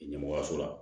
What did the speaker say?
Ɲɛmɔgɔya so la